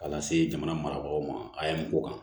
K'a lase jamana marabagaw ma a ye mɔgɔ kan